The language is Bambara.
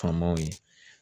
Famaw ye